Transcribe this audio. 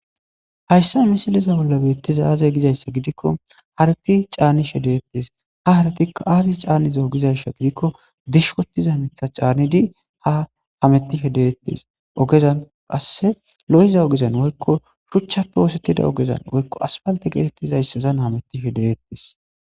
hayssa misiliza bolla beettiza aze gizayssa gidikko harati caanishe detees ha haratikka aazi caniza gizayssa gidikko dishikotiiza miththa canidi ha hemettishe dettees ogezan qasse lo'iza ogezan woykko shuchchappe oosetida ogezan woykko asfalte geetettizayssazan hamettishe de'ees